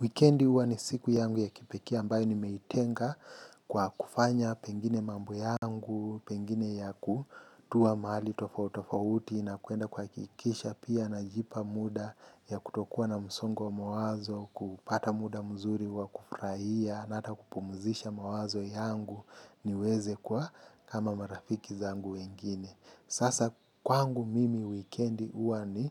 Wikendi huwa ni siku yangu ya kipekee ambayo nimeitenga kwa kufanya pengine mambo yangu, pengine ya ku tuwa mahali tofauti tofauti na kuenda kuhakikisha pia najipa muda ya kutokuwa na msongo wa mawazo, kupata muda mzuri wa kufurahia na hata kupumzisha mawazo yangu niweze kuwa kama marafiki zangu wengine. Sasa kwangu mimi wikend huwa ni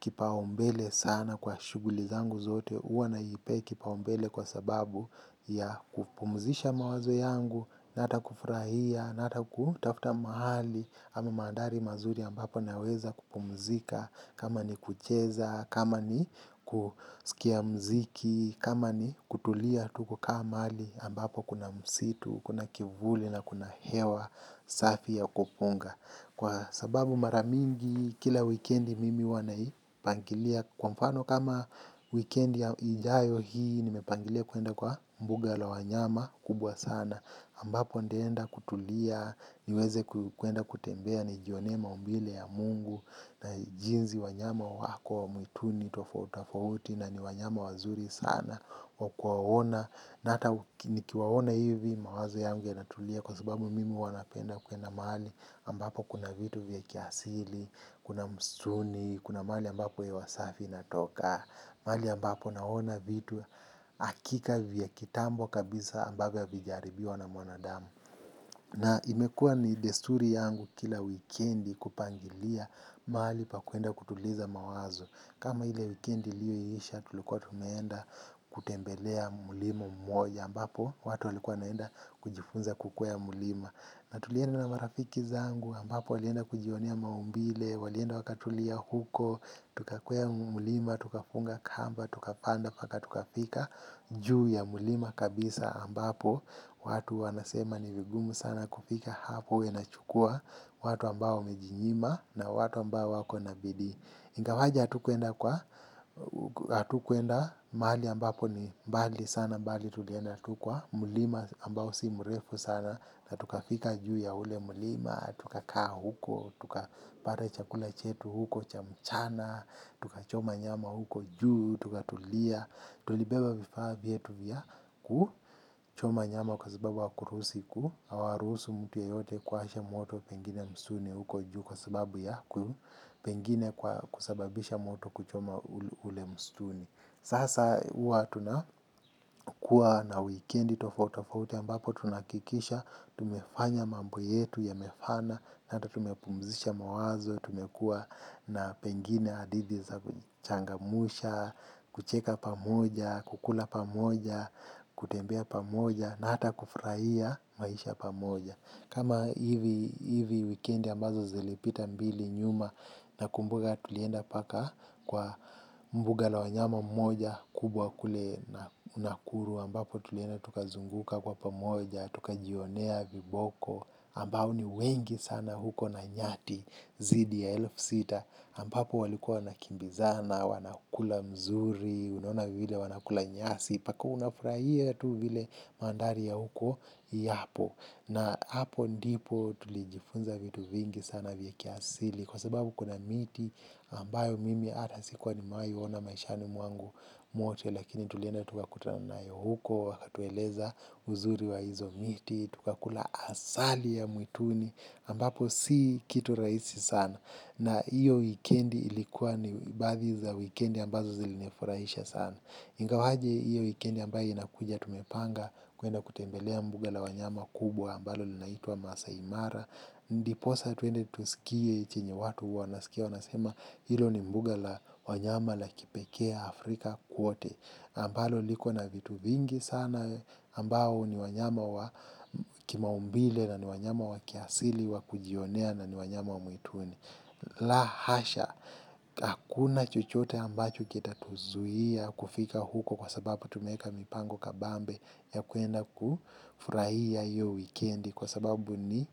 kipaumbele sana kwa shughuli zangu zote huwa naipe kipaumbele kwa sababu ya kupumzisha mawazo yangu, na hata kufurahia, na hata kutafuta mahali, ama mandhari mazuri ambapo naweza kupumzika, kama ni kucheza, kama ni kusikia mziki, kama ni kutulia tuko ka mahali ambapo kuna msitu, kuna kivuli na kuna hewa, safi ya kupunga. Kwa sababu mara mingi kila wikendi mimi huwa na pangilia. Kwa mfano kama wikendi ya ijayo hii nimepangilia kuenda kwa mbuga la wanyama kubwa sana ambapo nitaenda kutulia. Niweze kuenda kutembea nijionee maumbile ya mungu na jinsi wanyama wako mwituni tofauti tofauti afauti na ni wanyama wazuri sana wa kuwaona na hata nikiwaona hivi mawazo yangu yanatulia. Kwa sababu mimi huwa napenda kuenda mahali ambapo kuna vitu vya kiasili, kuna msituni, kuna mahali ambapo hewa safi inatoka mahali ambapo naona vitu hakika vya kitambo kabisa ambavyo havijaharibiwa na mwanadamu na imekuwa ni desturi yangu kila wikendi kupangilia mahali pa kuenda kutuliza mawazo kama ile wikendi liyoisha tulikuwa tumeenda kutembelea mlima mmoja ambapo watu walikuwa wanaenda kujifunza kukwea mlima. Na tulienda na marafiki zangu ambapo walienda kujionea maumbile, walienda wakatulia huko, tukakwea mlima, tukafunga kamba, tukapanda mpaka tukafika juu ya mlima kabisa ambapo. Watu wanasema ni vigumu sana kufika hapo huwa inachukua watu ambao wamejinyima na watu ambao wako na bidi. Ingawaje hatukuenda kwa, hatukuenda mahali ambapo ni mbali sana bali tulienda tu kwa, mlima ambao si mrefu sana na tukafika juu ya ule mulima, tukakaa huko, tukapata chakula chetu huko cha mchana, tukachoma nyama huko juu, tukatulia, tulibeba vifaa vyetu vya ku, choma nyama kwa sababu hawakurusi ku, hawaruhusu mtu yeyote kuwasha moto pengine msituni huko juu kwa sababu ya ku, pengine kwa kusababisha moto kuchoma ule mstuni. Sasa huwa tunakuwa na wikendi tofauti tofauti ambapo tunahakikisha tumefanya mambo yetu yamefana. Na hata tumepumzisha mawazo. Tumekuwa na pengine hadithi za kuchangamsha kucheka pamoja, kukula pamoja, kutembea pamoja na hata kufurahia maisha pamoja. Kama hivi wikendi ambazo zilipita mbili nyuma. Na kumbuka tulienda mpaka kwa mbuga la wanyama mmoja kubwa kule na nakuru ambapo tulienda tukazunguka kwa pamoja, tukajionea viboko ambao ni wengi sana huko na nyati zidi ya elfu sita ambapo walikuwa wanakimbizana, wanakula mzuri, unaona vile wanakula nyasi, mpaka unafurahia tu vile mandhari ya huko yapo. Na hapo ndipo tulijifunza vitu vingi sana vya kiasili kwa sababu kuna miti ambayo mimi hata sikuwa nimewai ona maishani mwangu mwote lakini tulienda tukakutana nayo huko wakatueleza uzuri wa hizo miti tukakula asali ya mwituni ambapo si kitu rahisi sana na hiyo wikendi ilikuwa ni baadhi za wikendi ambazo zilinifurahisha sana ingawaje hiyo wikendi ambayo inakuja tumepanga kuenda kutembelea mbuga la wanyama kubwa ambalo linaitwa masai mara ndiposa tuende tusikie chenye watu huwa nasikia wanasema hilo ni mbuga la wanyama la kipekee Afrika kwote ambalo liko na vitu vingi sana ambao ni wanyama wa kimaumbile na ni wanyama wa kiasili wa kujionea na ni wanyama wa mwituni la hasha, hakuna chochote ambacho kita tuzuia kufika huko. Kwa sababu tumeeka mipango kabambe ya kuenda kufurahia hiyo wikendi. Kwa sababu ni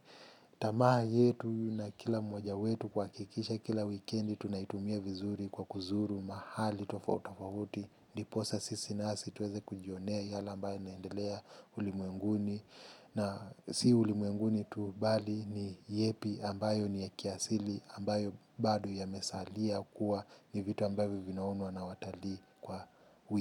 tamaa yetu na kila mmoja wetu kuhakikisha kila wikendi tunaitumia vizuri kwa kuzuru mahali tofauti tofauti. Ndiposa sisi nasi tuweze kujionea yale ambayo naendelea ulimwenguni. Na si ulimuenguni tu bali ni yepi ambayo ni ya kiasili ambayo bado yamesalia kuwa ni vitu ambavyo vinaonwa na watalii kwa wiki.